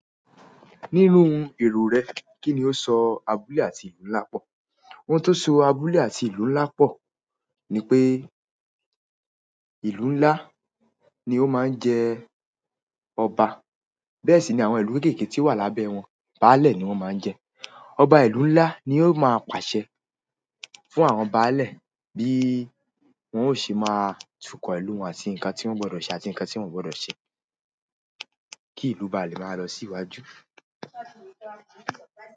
Nírun èrò rè, kíni ó s abúlé àti ìlú nlá pò? Ohun tó so abúlé àti ìlú nlá pò ni pé, ìlú nlá ni ó máa n jẹ ọba, bẹ́ẹ̀ sì ni àwọn ìlú kéké tí ó wà lábẹ́ wọn, baálẹ ni won máa n jẹ. Obá ìlú nlá ni ó máa pàsẹ fún àwọn baálẹ bí wón o ṣe máa túkọ ìlú wọn atí nkan tí wọ́n gbọdọ sé àti nkán tí wọn o gbọdọ sé, kí ìlú ba lè máa lọ sí iwájú.